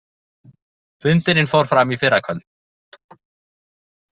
Fundurinn fór fram í fyrrakvöld